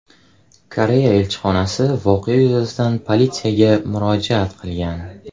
Koreya elchixonasi voqea yuzasidan politsiyaga murojaat qilgan.